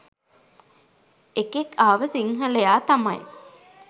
එකෙක් ආව සිංහලයා තමයි